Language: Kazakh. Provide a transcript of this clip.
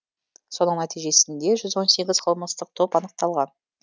соның нәтижесінде жүз он сегіз қылмыстық топ анықталған